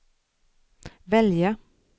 välja